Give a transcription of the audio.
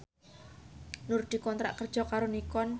Nur dikontrak kerja karo Nikon